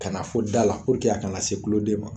Kana fo da la a kana se tuloden ma